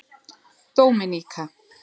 Dóminíka